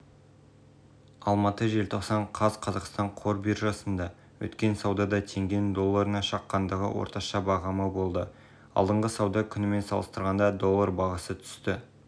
барлық қызметтік аспектілері бойынша ұсынылатын барлық өзгерістер мен ұсыныстар туралы нарық қатысушыларына уақытылы хабарлау туралы